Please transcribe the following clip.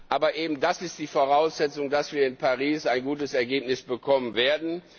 Aber eben das ist die Voraussetzung, dass wir in Paris ein gutes Ergebnis bekommen werden.